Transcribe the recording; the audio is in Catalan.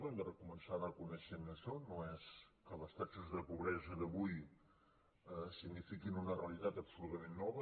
hem de començar reconeixent això no és que les taxes de pobresa d’avui signifiquin una realitat absolutament nova